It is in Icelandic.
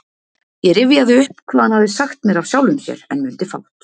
Ég rifjaði upp hvað hann hafði sagt mér af sjálfum sér, en mundi fátt.